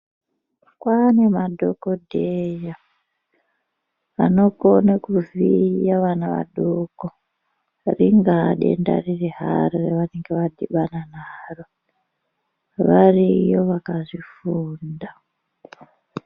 Kwane madhokodheya anokone kuziya vana vadoko ringaa denda riri haro ravanenge vadhibana naro. Variyo vakazvifunda.